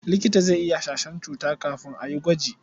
Likita zai iya hasashen cuta kafin a yi gwaji.